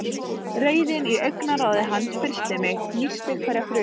Reiðin í augnaráði hans frystir mig, nístir hverja frumu.